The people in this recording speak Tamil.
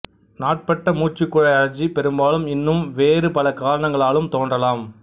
நாட்பட்ட மூச்சு குழாய் அழற்சி பெரும்பாலும் இன்னும் வேறு பல காரணங்களாலும் தோன்றலாம்